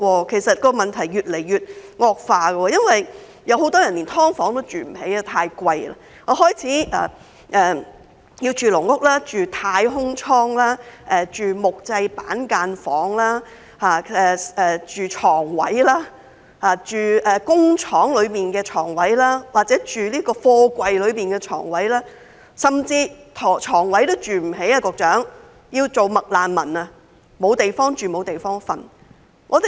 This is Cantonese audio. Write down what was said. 其實，問題已經越來越惡化，很多人甚至連"劏房"也住不起，因為太昂貴，他們開始住"籠屋"、"太空艙"、木製板間房、床位、工廠大廈內的床位或貨櫃內的床位，甚至有人連床位也住不起，要做"麥難民"，甚至沒有地方住，沒有地方睡。